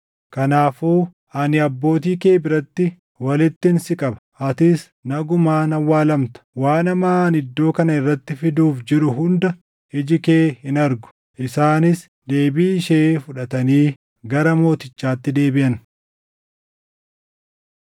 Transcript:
Kanaafuu ani abbootii kee biratti walittin si qaba; atis nagumaan awwaalamta. Waan hamaa ani iddoo kana irratti fiduuf jiru hunda iji kee hin argu.’ ” Isaanis deebii ishee fudhatanii gara mootichaatti deebiʼan.